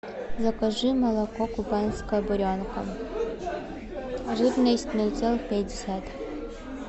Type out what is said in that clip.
закажи молоко кубанская буренка жирность ноль целых пять десятых